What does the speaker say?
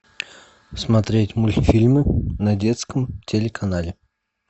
смотреть мультфильмы на детском телеканале